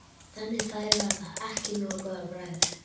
Þannig að þær verða ekki nógu góðar á bragðið?